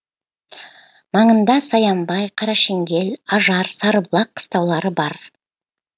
маңында саянбай қарашеңгел ажар сарыбұлақ қыстаулары бар